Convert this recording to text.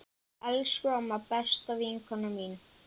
Elsku amma, besta vinkona mín.